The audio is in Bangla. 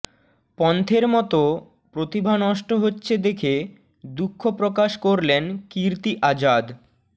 পন্থের মত প্রতিভা নষ্ট হচ্ছে দেখে দুঃখ প্রকাশ করলেন কীর্তি আজাদ